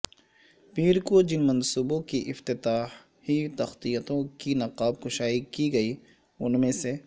پیر کو جن منصوبوں کی افتتاحی تختیوں کی نقاب کشائی کی گئی ان میں سے